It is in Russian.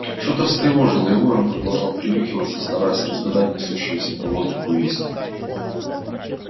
что-то встревожило его и он продолжал принюхиваться стараясь разгадать несущуюся по воздуху весть